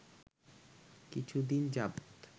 কিছুদিন যাবৎ